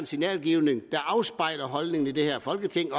signalgivningen afspejler at holdningen i dette folketing